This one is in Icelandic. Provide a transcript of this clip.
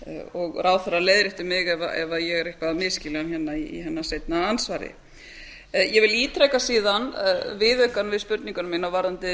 dag ráðherra leiðréttir mig ef ég er eitthvað að misskilja hana hérna í hennar seinna andsvari ég vil ítreka síðan viðaukann við spurninguna mína varðandi